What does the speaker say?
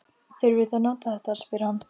Þurfið þið að nota þetta? spyr hann.